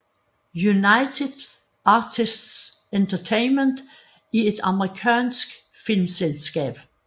United Artists Entertainment er et amerikansk filmselskab